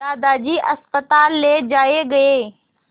दादाजी अस्पताल ले जाए गए